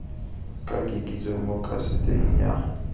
ka kitsiso mo kaseteng ya